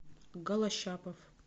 голощапов